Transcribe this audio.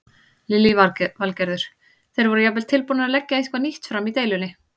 Lillý Valgerður: Þeir voru jafnvel tilbúnir að leggja eitthvað nýtt fram í deilunni?